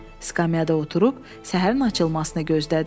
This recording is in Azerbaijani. Skamyada oturub səhərin açılmasını gözlədi.